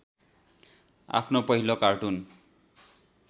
आफ्नो पहिलो कार्टुन